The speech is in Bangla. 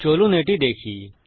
চলুন এটি দেখি